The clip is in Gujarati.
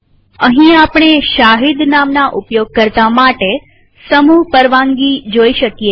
અહીં આપણે શહીદ નામના ઉપયોગકર્તા માટે સમૂહ પરવાનગી જોઈ શકીએ છીએ